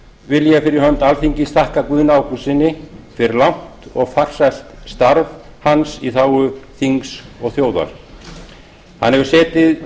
vil ég fyrir hönd alþingis þakka guðna ágústssyni fyrir langt og farsælt starf hans í þágu þings og þjóðar hann hefur